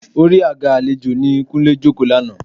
Orí àga àlejò ni Kúnlé jókòó lánàá